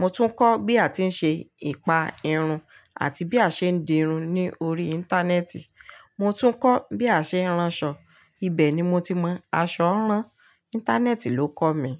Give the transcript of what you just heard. Mo tún kọ́ bí a ti ń ṣe ìpa irun àti bí a ṣe ń dirun ní orí Íńtánẹ́ẹ̀tì. Mo tún kọ́ bí a ṣe ń ránṣọ. Ibẹ̀ ni mo ti mọ aṣọ rán. Íńtánẹ́ẹ̀tì ló kọ́ mi.